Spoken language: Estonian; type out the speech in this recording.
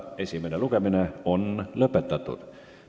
Esimene lugemine on lõpetatud.